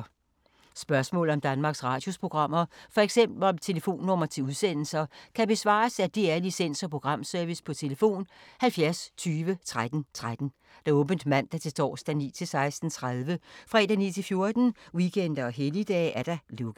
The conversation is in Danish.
Spørgsmål om Danmarks Radios programmer, f.eks. om telefonnumre til udsendelser, kan besvares af DR Licens- og Programservice: tlf. 70 20 13 13, åbent mandag-torsdag 9.00-16.30, fredag 9.00-14.00, weekender og helligdage: lukket.